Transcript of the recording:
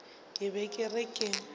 ke be ke re ke